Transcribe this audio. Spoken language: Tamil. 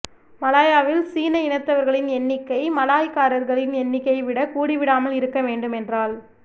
மலாயாவில் சீன இனத்தவரின் எண்ணிக்கை மலாய்க்காரர்களின் எண்ணிக்கையைவிட கூடிவிடாமல் இருக்க வேண்டுமென்றால்